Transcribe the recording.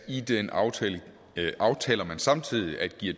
i den aftale aftaler man samtidig at give